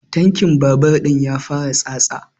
Tankin babur ɗin ya fara tsatsa